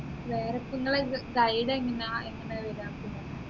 വേറിപ്പോ നിങ്ങളെ guide എങ്ങനാ എങ്ങനെയാ